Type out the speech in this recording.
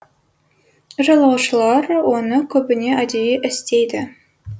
жолаушылар оны көбіне әдейі істейді